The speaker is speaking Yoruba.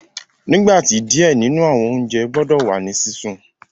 Nigba ti diẹ ninu awọn ounjẹ gbọdọ wa ni sisun